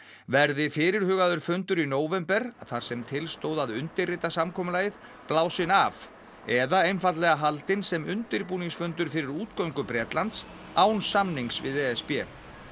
verði fyrirhugaður fundur í nóvember þar sem til stóð að undirrita samkomulagið blásinn af eða einfaldlega haldinn sem undirbúningsfundur fyrir útgöngu Bretlands án samnings við e s b